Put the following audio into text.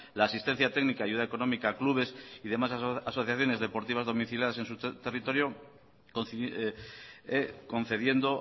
la asistencia técnica y ayuda económica a clubes y demás asociaciones deportivas domiciliadas en su territorio concediendo